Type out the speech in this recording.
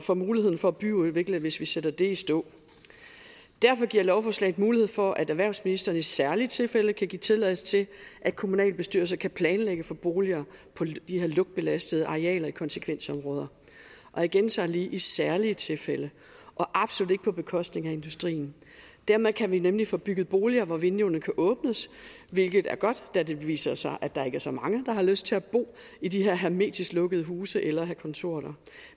for muligheden for at byudvikle hvis vi sætter det i stå derfor giver lovforslaget mulighed for at erhvervsministeren i særlige tilfælde kan give tilladelse til at kommunalbestyrelserne kan planlægge for boliger på de her lugtbelastede arealer i konsekvensområder og jeg gentager lige i særlige tilfælde og absolut ikke på bekostning af industrien dermed kan vi nemlig få bygget boliger hvor vinduerne kan åbnes hvilket er godt da det viser sig at der ikke er så mange der har lyst til at bo i de her hermetisk lukkede huse eller at have kontor der